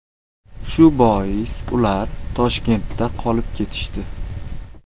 Shu bois ular Toshkentda qolib ketishdi.